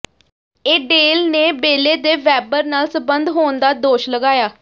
Adele ਨੇ ਬੇਲੇ ਦੇ ਵੈੱਬਰ ਨਾਲ ਸਬੰਧ ਹੋਣ ਦਾ ਦੋਸ਼ ਲਗਾਇਆ